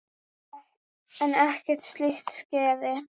En ekkert slíkt skeði.